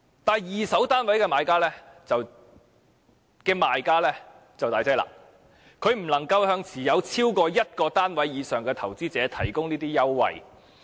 但是，二手單位的賣家便難以這樣做，他們不能向已經持有單位的投資者提供這類優惠。